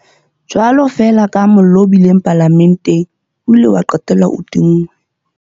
Jwalo feela kaha mollo o bileng Palamenteng o ile wa qetella o tinngwe,